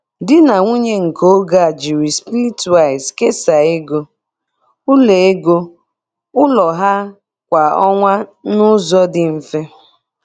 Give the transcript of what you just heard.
Di na nwunye nke oge a jiri Splitwise kesaa ego ụlọ ego ụlọ ha kwa ọnwa n'ụzọ dị mfe.